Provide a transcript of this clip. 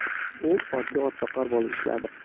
U oddiy otboqar bo‘lib ishladi.